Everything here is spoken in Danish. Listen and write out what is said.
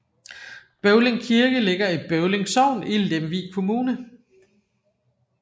Bøvling Kirke ligger i Bøvling Sogn i Lemvig Kommune